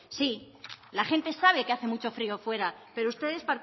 sí la gente sabe que hace mucho frío fuera pero ustedes